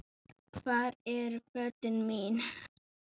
Hvar eru fötin mín.?